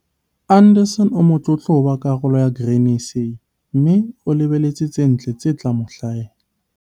Anderson o motlotlo ho ba karolo ya Grain SA, mme o lebelletse tse ntle tse tla mo hlahela.